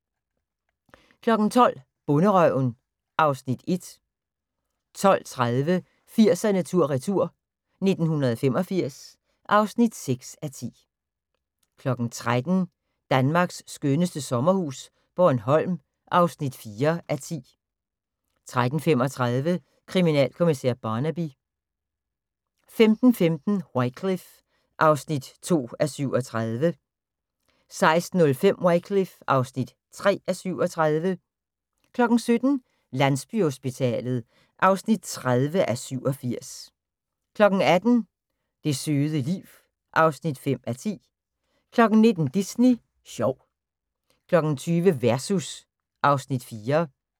12:00: Bonderøven (Afs. 1) 12:30: 80'erne tur/retur: 1985 (6:10) 13:00: Danmarks skønneste sommerhus - Bornholm (4:10) 13:35: Kriminalkommissær Barnaby 15:15: Wycliffe (2:37) 16:05: Wycliffe (3:37) 17:00: Landsbyhospitalet (30:87) 18:00: Det søde liv (5:10) 19:00: Disney sjov 20:00: Versus (Afs. 4)